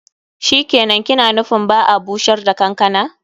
Shikenan, ki na nufin ba'a bushar da kankana.